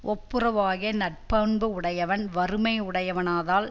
ஒப்புரவாகிய நற்பண்பு உடையவன் வறுமை உடையவனாதல்